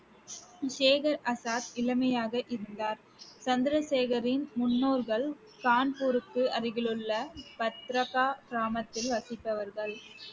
சேகர் ஆசாத் இளமையாக இருந்தார் சந்திரசேகரின் முன்னோர்கள் கான்பூருக்கு அருகிலுள்ள பதார்கா கிராமத்தில் வசித்தவர்கள்